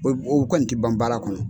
O o kɔni ti ban baara kɔnɔ.